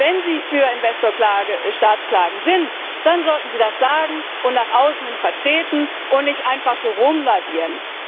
Wenn Sie für Investor Staat Klagen sind, dann sollten Sie das sagen und nach außen hin vertreten und nicht einfach so herumlavieren.